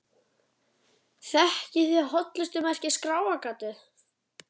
Þekkið þið hollustumerkið Skráargatið?